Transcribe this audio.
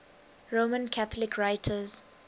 roman catholic writers